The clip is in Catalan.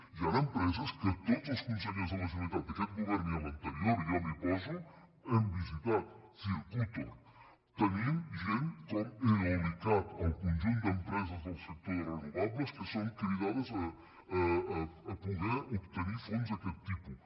hi han empreses que tots els consellers de la generalitat d’aquest govern i l’anterior i jo m’hi poso hem visitat circutor tenim gent com eolic cat el conjunt d’empreses del sector de renovables que són cridades a poder obtenir fons d’aquest tipus